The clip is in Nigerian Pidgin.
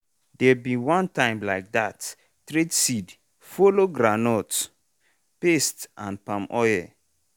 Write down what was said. dere bin one time like that trade seed follow groundnut paste and palm oil.